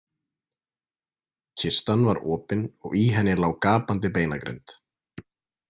Kistan var opin og í henni lá gapandi beinagrind.